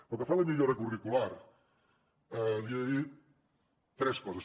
pel que fa a la millora curricular li he de dir tres coses